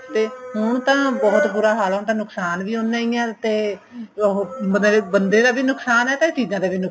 ਤੇ ਹੁਣ ਤਾਂ ਬਹੁਤ ਬੁਰਾ ਹਾਲ ਏ ਹੁਣ ਤਾਂ ਨੁਕਸ਼ਾਨ ਵੀ ਉਹਨਾ ਹੀ ਹਾਂ ਤੇ ਉਹ ਬੰਦੇ ਦਾ ਵੀ ਨੁਕਸ਼ਾਨ ਏ ਤੇ ਚੀਜਾਂ ਦਾ ਵੀ